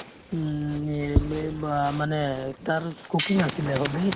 উম, এ মে বা মানে তাৰ cooking আছিলে hobby